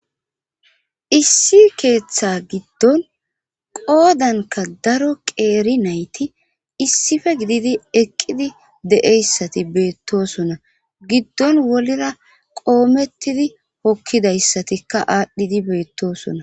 issi keeththa giddon qoodanka daro qeeri nayti issife gididi eqqidi deeyssati beettosona giddon wolira qoomettidi hokkidayssatikka aadhdhidi beettosona